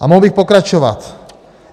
A mohl bych pokračovat.